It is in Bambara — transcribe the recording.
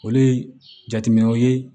Olu ye jateminɛw ye